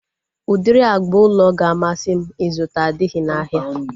Udiri agba ụlọ ga-amasị m ịzụta adịghị n'ahịa